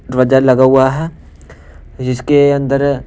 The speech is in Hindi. ध्वजा लगा हुआ है फिर इसके अंदर--